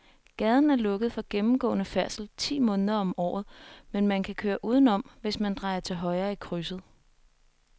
Gaden er lukket for gennemgående færdsel ti måneder om året, men man kan køre udenom, hvis man drejer til højre i krydset.